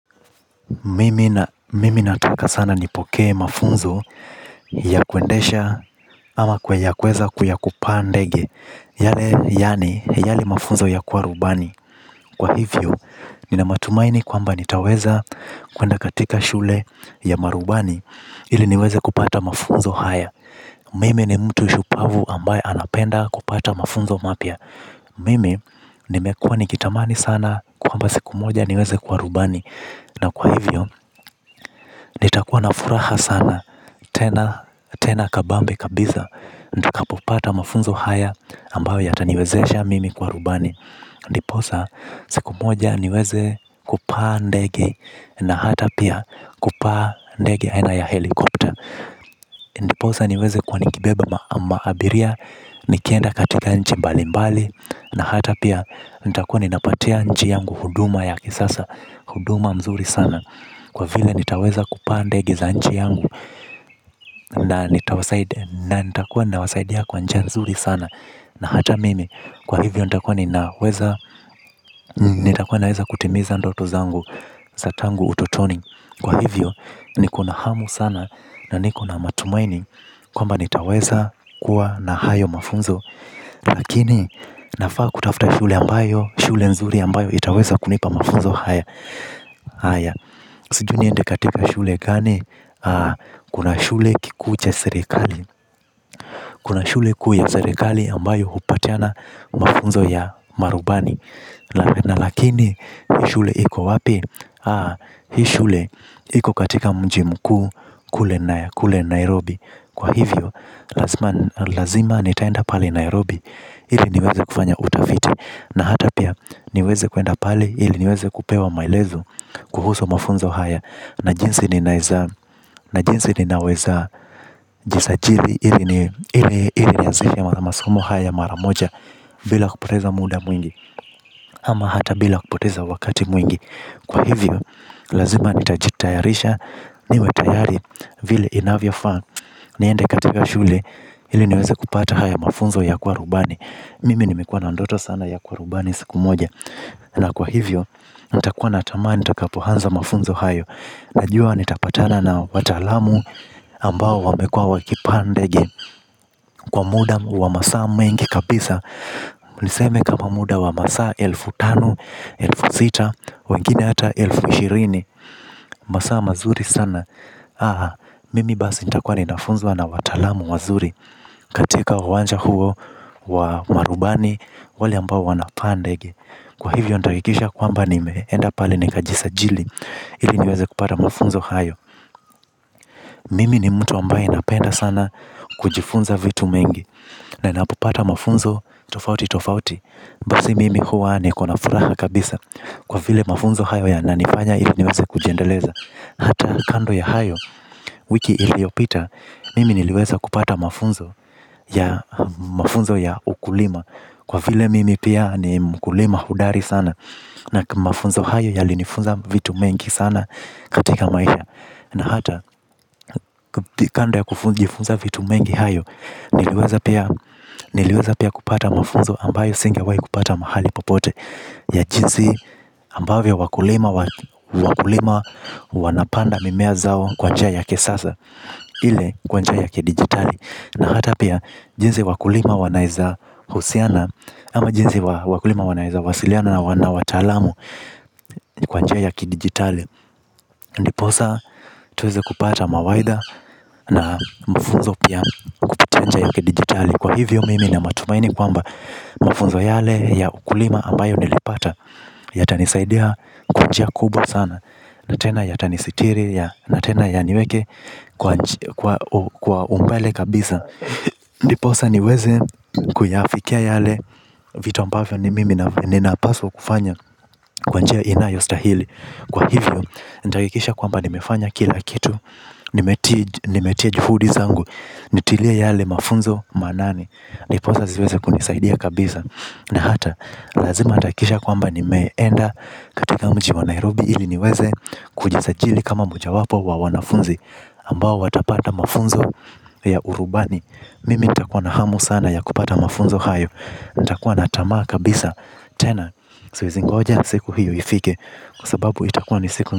Mimi nataka sana nipokee mafunzo ya kuendesha ama kuyakweza ya kupaa ndege yale yaani yale mafunzo ya kuwa rubani. Kwa hivyo, nina matumaini kwamba nitaweza kwenda katika shule ya marubani ili niweze kupata mafunzo haya. Mimi ni mtu shupavu ambaye anapenda kupata mafunzo mapya. Mimi nimekuwa nikitamani sana kwamba siku moja niweze kuwa rubani. Na kwa hivyo nitakuwa na furaha sana tena kabambe kabisa. Ndiposa, siku moja niweze kupaa ndege na hata pia kupaa ndege aina ya helikopta. Ndiposa niweze kuwa nikibeba maabiria, nikienda katika nchi mbalimbali, na hata pia nitakuwa ninapatia nchi yangu huduma ya kisasa, huduma mzuri sana. Kwa vile nitaweza kupaa ndege za nchi yangu na nitakuwa nawasaidia kwa njia nzuri sana. Na hata mimi kwa hivyo nitakuwa ninaweza kutimiza ndoto zangu za tangu utotoni. Kwa hivyo niko na hamu sana na niko na matumaini kwamba nitaweza kuwa na hayo mafunzo. Lakini nafaa kutafuta shule ambayo, shule nzuri ambayo itaweza kunipa mafunzo haya. Sijui niende katika shule gani? Kuna shule kikuu cha serikali. Kuna shule kuu ya serikali ambayo hupatiana mafunzo ya marubani. Na lakini, shule iko wapi? Hii shule iko katika mji mkuu kule Nairobi. Kwa hivyo, lazima nitaenda pale Nairobi ili niweze kufanya utafiti na hata pia niweze kwenda pale ili niweze kupewa maelezo kuhusu mafunzo haya na jinsi ninaweza nijisajili ili nianzishe masomo haya mara moja bila kupoteza muda mwingi ama hata bila kupoteza wakati mwingi kwa hivyo lazima nitajitayarisha niwe tayari vile inavyofaa niende katika shule ili niweze kupata haya mafunzo ya kuwa rubani mimi nimekuwa na ndoto sana ya kuwa rubani siku moja. Na kwa hivyo, nitakuwa na tamaa nitakapoanza mafunzo hayo. Najua nitapatana na wataalamu ambao wamekuwa wakipaa ndege. Kwa muda wa masaa mengi kabisa. Niseme kama muda wa masa elfu tano, elfu sita, wengine hata elfu ishirini. Masaa mazuri sana. Mimi basi nitakuwa ninafunzwa na wataalamu wazuri. Katika uwanja huo wa marubani wale ambao wanapaa ndege. Kwa hivyo nitahakikisha kwamba nimeenda pale nikajisajili. Ili niweze kupata mafunzo hayo. Mimi ni mtu ambaye napenda sana kujifunza vitu mengi. Na napopata mafunzo tofauti tofauti basi mimi huwa niko na furaha kabisa. Kwa vile mafunzo hayo yananifanya ili niweze kujiendeleza. Hata kando ya hayo wiki iliyopita mimi niliweza kupata mafunzo ya ukulima. Kwa vile mimi pia ni mkulima hodari sana. Na mafunzo hayo yalinifunza vitu mengi sana katika maisha. Na hata kando ya kujifunza vitu mengi hayo niliweza pia kupata mafunzo ambayo singewahi kupata mahali popote. Ya jinsi ambavyo wakulima wanapanda mimea zao kwa njia za kisasa ile kwa njia ya kidigitali na hata pia jinsi wakulima wanaezahusiana ama jinsi wakulima wanaeza wasiliana na wataalamu. Kwa njia ya ki-digitali. Ndiposa tuweze kupata mawaidha na mafunzo pia kwa kupitia njia ya ya kidigitali. Kwa hivyo mimi nina matumaini kwamba mfunzo yale ya ukulima ambayo nilipata yatanisaidia kwa njia kubwa sana. Na tena yatanisitiri. Na tena yaniweke kwa umbele kabisa. Ndiposa niweze kuyafikia yale vitu ambavyo ni mimi ninapaswa kufanya. Kwa njia inayostahili. Kwa hivyo, nitahakikisha kwamba nimefanya kila kitu. Nimetia juhudi zangu. Nitilie yale mafunzo maanani. Ndiposa ziweze kunisaidia kabisa. Na hata, lazima nitahakikisha kwamba nimeenda katika mji wa Nairobi ili niweze kujisajili kama mojawapo wa wanafunzi ambao watapata mafunzo ya urubani. Mimi nitakuwa na hamu sana ya kupata mafunzo hayo. Nitakuwa na tamaa kabisa. Tena, siwezingoja siku hiyo ifike kwa sababu itakuwa ni siku.